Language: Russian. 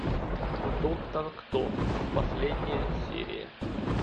доктор кто последняя серия